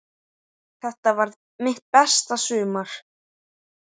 Þetta varð mitt besta sumar.